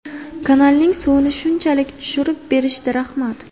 Kanalning suvini shunchalik tushirib berishdi, rahmat.